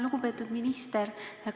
Lugupeetud minister!